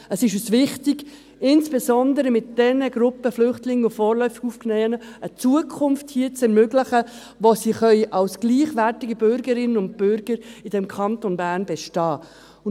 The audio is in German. «Es ist uns wichtig, insbesondere mit denen Gruppen Flüchtlingen und vorläufig Aufgenommenen, eine Zukunft hier zu ermöglichen, wo sie als gleichwertige Bürgerinnen und Bürger in diesem Kanton Bern bestehen können.»